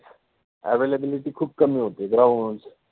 availability {availability} खुप कमि होति {ground} चि